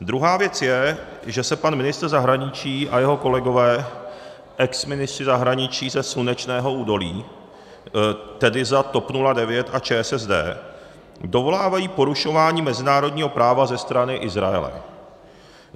Druhá věc je, že se pan ministr zahraničí a jeho kolegové exministři zahraničí ze slunečného údolí, tedy za TOP 09 a ČSSD, dovolávají porušování mezinárodního práva ze strany Izraele.